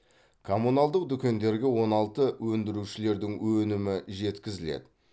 коммуналдық дүкендерге он алты өндірушілердің өнімі жеткізіледі